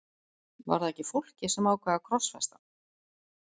Var það ekki fólkið sem ákvað að krossfesta hann?